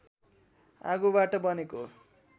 आगोबाट बनेको